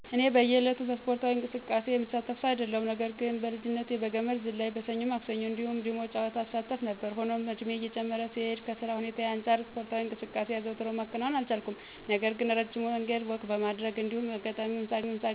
እኔ በእየ ዕለቱ በእስፖርታዊ እንቅስቃሴ የምሳተፍ ሰው አይደለሁም። ነገር ግን በልጅነቴ በገመድ ዝላይ፣ በሰኞ ማክሰኞ እንዲሁም በ ዲሞ ጨዋታዎች እሳተፍ ነበር። ሆኖም እድሜየ እየጨመረ ሲሄድ ከ ስራ ሁኔታየ አንጻር እስፖርታዊ እንቅስቃሴ አዘውትሮ ማከናወን አልቻልኩም። ነገር ግን እረጅም መንገድ ወክ በማድረግ እንዲሁም አጋጣሚዉን ሳገኝ ዋና መዋኘት፣ ገመድ መዝለል፣ ሴት አፕ መስራት እስከ አሁን የማደርጋቸው እስፖርዊ እንቅስቃሴዎች ናቸው።